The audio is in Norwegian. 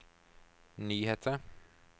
nyheter